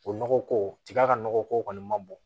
O nɔgɔko tiga ka nɔgɔ ko kɔni man bon